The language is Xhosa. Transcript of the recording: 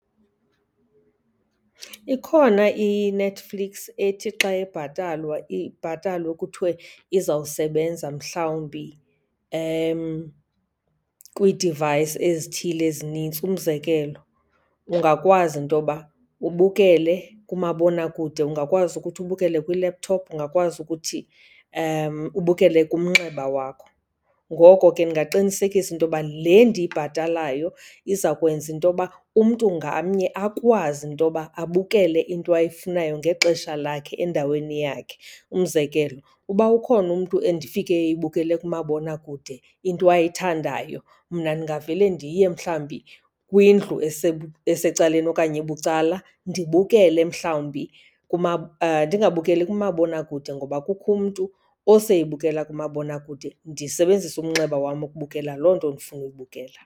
Ikhona iNetflix ethi xa ibhatalwa ibhatalwe kuthiwe izawusebenza mhlawumbi kwii-device ezithile ezinintsi. Umzekelo, ungakwazi into yoba ubukele kumabonakude, ungakwazi ukuthi ubukele kwi-laptop, ungakwazi ukuthi ubukele kumnxeba wakho. Ngoko ke ndingaqinisekisa into yoba le ndiyibhatalayo iza kwenza into yoba umntu ngamnye akwazi into yoba abukele into ayifunayo ngexesha lakhe endaweni yakhe. Umzekelo, uba ukhona umntu endifike eyibukele kumabonakude into ayithandayo, mna ndingavele ndiye mhlawumbi kwindlu esecaleni okanye ebucala ndibukele mhlawumbi , ndingabukeli kumabonakude ngoba kukho umntu oseyibukela kumabonakude, ndisebenzise umnxeba wam ukubukela loo nto ndifuna uyibukela.